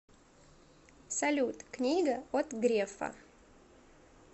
салют книга от грефа